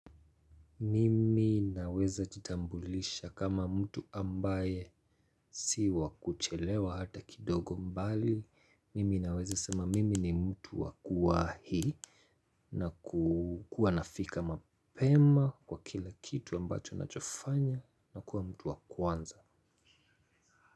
Mimi naweza jitambulisha kama mtu ambaye si wa kuchelewa hata kidogo mbali. Mimi naweza sema mimi ni mtu wa kuwa hii na kuwa nafika mapema kwa kila kitu ambacho nachofanya na kuwa mtu wa kwanza.